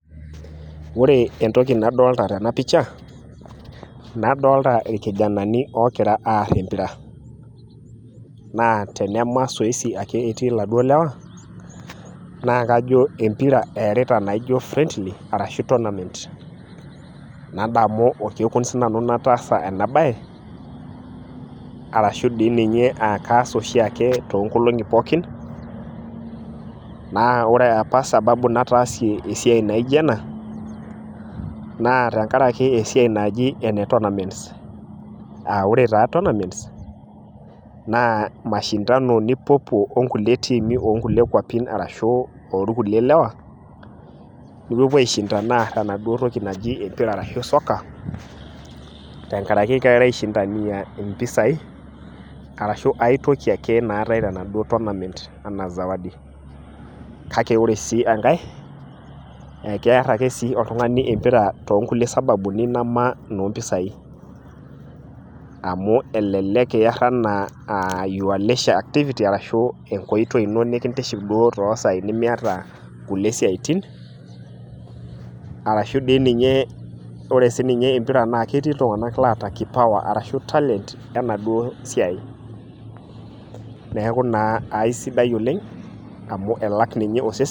Ore entoki nadalta tena picha ,nadolta irkijanani ogira aar empira. Naa tenama zoezi ake etii laduo lewa, nakajo empira eerita naijo friendly, arashu tournament. Nadamu orkekun sinanu nataasa enabae, arashu di ninye akaas oshiake toonkolong'i pookin, naa ore apa sababu nataasie esiai naijo ena, naa tenkaraki esiai naji ene tournaments. Ah ore taa tournaments, naa mashindano nipuopuo onkulie tiimi onkulie kwapin arashu orkulie lewa, nipuopuo aishindana aar enaduo toki naji empira arashu soccer, tenkaraki girara aishindania impisai, arashu aitoki ake naatae tenaduo tournament ,enaa zawadi. Kake ore sii enkae, eker ake si oltung'ani empira tonkulie sababuni nama no mpisai. Amu elelek iar enaa your leisure activity ,arshu enkoitoi ino nikintiship duo tosai enimiata kulie siaitin, arashu di ninye ore sininye empira na ketii iltung'anak laata kipawa ,arashu talent, enaduo siai. Neeku naa aisidai oleng, amu elak ninye osesen.